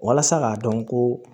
Walasa k'a dɔn ko